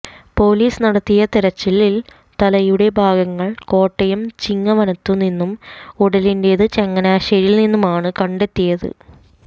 police നടത്തിയ തെരച്ചിലിൽ തലയുടെ ഭാഗങ്ങൾ കോട്ടയം ചിങ്ങവനത്തു നിന്നും ഉടലിന്റേത് ചങ്ങനാശ്ശേരിയിൽ നിന്നുമാണ് കണ്ടെത്തിയത്